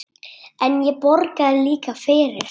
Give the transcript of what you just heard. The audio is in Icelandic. En ég borgaði líka fyrir.